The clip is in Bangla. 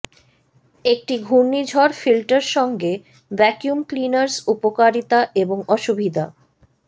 একটি ঘূর্ণিঝড় ফিল্টার সঙ্গে ভ্যাকুয়াম ক্লীনার্স উপকারিতা এবং অসুবিধা